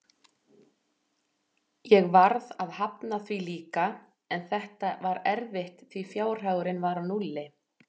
Ég varð að hafna því líka, en þetta var erfitt því fjárhagurinn var á núlli.